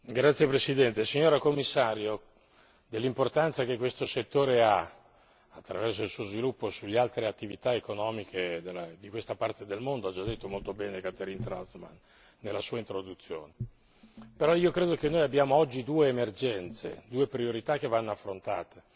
Signor Presidente, onorevoli colleghi, Signora Commissario, dell'importanza che questo settore ha attraverso il suo sviluppo sulle altre attività economiche di questa parte del mondo ha già detto molto bene Catherine Trautmann nella sua introduzione. Ritengo tuttavia che abbiamo oggi due emergenze, due priorità che vanno affrontate.